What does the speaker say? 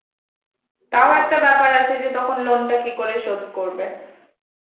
তাও একটা ব্যাপার আছে যে তখন loan টা কি করে শোধ করবে?